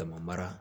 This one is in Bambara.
Dama mara